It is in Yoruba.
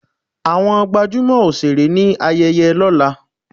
Àwọn gbajúmọ̀ òṣèré ní ayẹyẹ lọ́la.